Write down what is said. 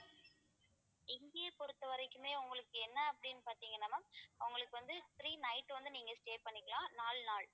இங்கே பொறுத்தவரைக்குமே உங்களுக்கு என்ன அப்படின்னு பார்த்தீங்கன்னா ma'am உங்களுக்கு வந்து three night வந்து நீங்க stay பண்ணிக்கலாம் நாலு நாள்